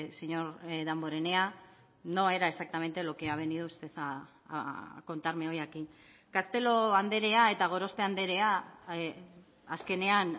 señor damborenea no era exactamente lo que ha venido usted a contarme hoy aquí castelo andrea eta gorospe andrea azkenean